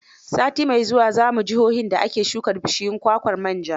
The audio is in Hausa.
Sati mai zuwa za mu jihohin da ake shuka bishiyar kwakwar manja.